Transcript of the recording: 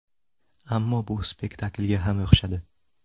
Ammo bu spektaklga ham o‘xshadi.